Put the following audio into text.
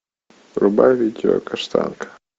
врубай видео каштанка